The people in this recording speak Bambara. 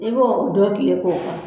I b'o dɔ kilen k'o k'a